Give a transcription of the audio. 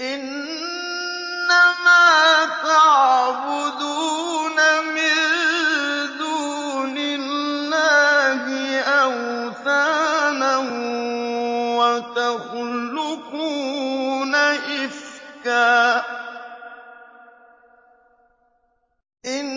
إِنَّمَا تَعْبُدُونَ مِن دُونِ اللَّهِ أَوْثَانًا وَتَخْلُقُونَ إِفْكًا ۚ إِنَّ